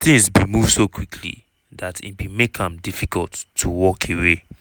"tins bin move so quickly dat e bin make am difficult to walk away."